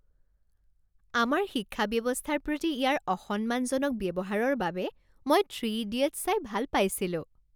আমাৰ শিক্ষা ব্যৱস্থাৰ প্ৰতি ইয়াৰ অসন্মানজনক ব্যৱহাৰৰ বাবে মই "থ্ৰী ইডিয়টছ" চাই ভাল পাইছিলো।